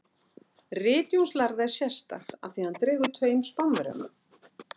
Rit Jóns lærða er sérstakt af því að hann dregur taum Spánverjanna.